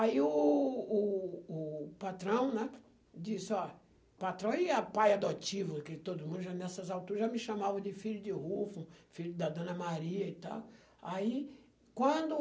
Aí o o o patrão, né, disse, ó, patrão e pai adotivo, que todo mundo já nessas alturas já me chamava de filho de Rufo, filho da Dona Maria e tal. Aí, quando